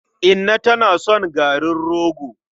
Inna tana son garin rogo.